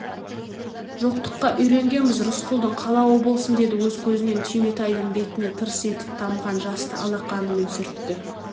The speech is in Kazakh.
жоқтыққа үйренгенбіз рысқұлдың қалауы болсын деді өз көзінен түйметайдың бетіне тырс етіп тамған жасты алақанымен сүртті